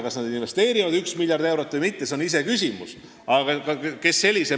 Kas nad investeerivad ühe miljardi või mitte, see on iseküsimus.